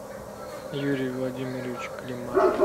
юрий владимирович климаш